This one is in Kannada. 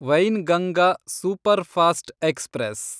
Wainganga superfast express